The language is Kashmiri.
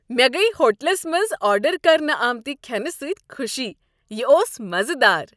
مےٚ گٔیۍ ہوٹلس منٛز آرڈر کرنہٕ آمتِہ کھینہٕ سۭتۍ خوشی۔ یِہ اوٚس مزٕدار۔